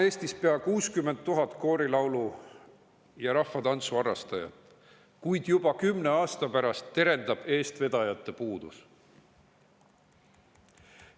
Eestis on pea 60 000 koorilaulu‑ ja rahvatantsuharrastajat, kuid juba 10 aasta pärast terendab eestvedajate puudus.